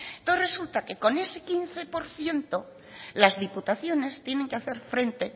entonces resulta que con ese quince por ciento las diputaciones tienen que hacer frente